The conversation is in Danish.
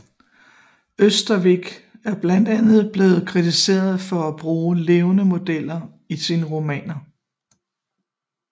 Ørstavik er blandt andet blevet kritiseret for at bruge levende modeller i sine romaner